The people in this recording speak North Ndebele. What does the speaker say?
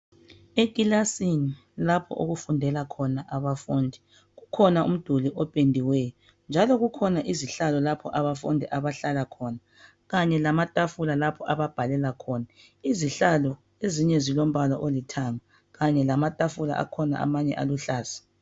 Ikilasi lapho okufundela khona abafundi, kukhona umduli ophendiweyo. Njalo kukhona izihlalo abafundi bahlala khona, amathafula lapho babhalela khona .izihlalo, ezinye zilombala olithanga khanye lamathafula aluhlaza.